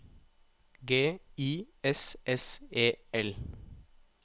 G I S S E L